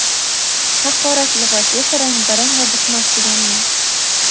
Haqorat lug‘ati esa rang-barang va bitmas-tuganmas!.